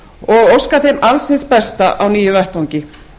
og óska þeim alls hin besta á nýjum vettvangi